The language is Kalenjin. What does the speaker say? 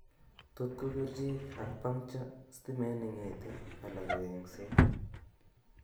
Tot ko kerichek, acpuncture, stimet nengeete ala ko engseet